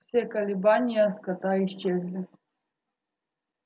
все колебания скота исчезли